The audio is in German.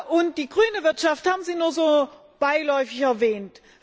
Und die grüne Wirtschaft haben Sie nur so beiläufig erwähnt.